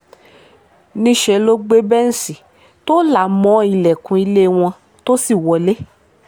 níṣẹ́ ló gbé bẹ́ǹṣì tó là mọ́ ọn ilẹ̀kùn ilé wọn tó sì wọlé